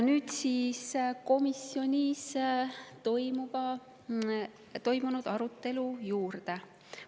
Nüüd lähen komisjonis toimunud arutelu juurde.